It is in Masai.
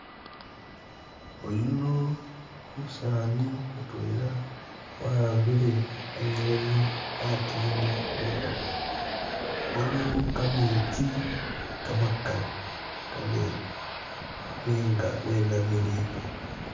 Oyuno umusaani mutwela wa'ambile khanyeni khatini mukhono waliwo kametsi kamakali kamene nenga wenamilile